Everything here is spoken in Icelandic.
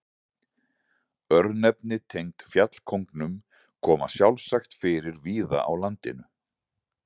Örnefni tengd fjallkóngum koma sjálfsagt fyrir víða á landinu.